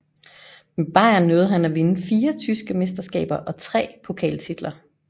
Med Bayern nåede han at vinde fire tyske mesterskaber og tre pokaltitler